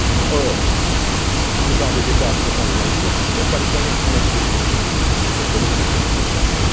Or, la plupart des États affréteurs n'ont pas les moyens financiers ou techniques de contrôler les activités de pêche.